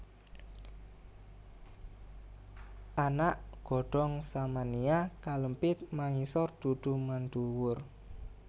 Anak godhong Samania kalempit mangisor dudu manduwur